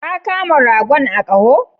Ka Kama ragon a koho?